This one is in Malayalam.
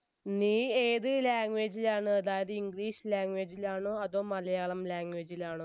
നീ ഏത് language ലാണ് അതായത് english language ലാണോ അതോ malayalam language ഇലാണോ